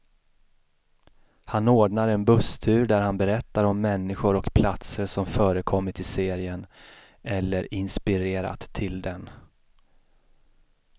Han ordnar en busstur där han berättar om människor och platser som förekommit i serien, eller inspirerat till den.